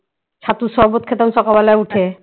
ছাতু শরবত খেতাম সকালবেলায় উঠে